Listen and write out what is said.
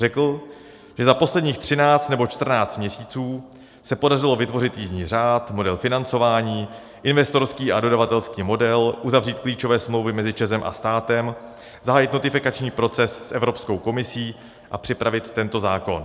Řekl, že za posledních třináct nebo čtrnáct měsíců se podařilo vytvořit jízdní řád, model financování, investorský a dodavatelský model, uzavřít klíčové smlouvy mezi ČEZ a státem, zahájit notifikační proces s Evropskou komisí a připravit tento zákon.